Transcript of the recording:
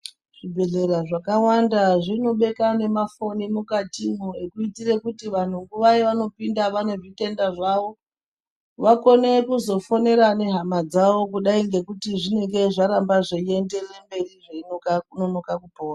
Zvibhedhlera zvakawanda zvinobeka nemafoni mukatimwo ekuitire kuti vanhu nguva yevanopinda vanezvitenda zvavo vakone kuzofonera nehama dzavo kudai ngekuti zvingadai zveiramba zveienderera mberi zveinonoka kupora.